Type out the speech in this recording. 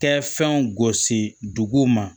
Tɛ fɛnw gosi duguw ma